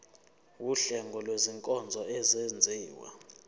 wuhlengo lwezinkonzo ezenziwa